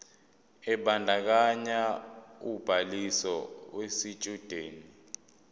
ebandakanya ubhaliso yesitshudeni